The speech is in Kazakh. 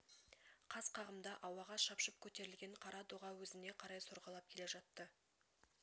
қас қағымда ауаға шапшып көтерілген қара доға өзіне қарай сорғалап келе жатты